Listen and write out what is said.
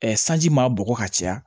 sanji ma bɔgɔ ka caya